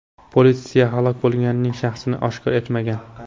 Politsiya halok bo‘lganning shaxsini oshkor etmagan.